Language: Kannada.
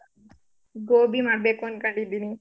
ಗೋಬಿ ಮಾಡ್ಬೇಕು ಅನ್ಕೊಂಡಿದ್ದೀನಿ.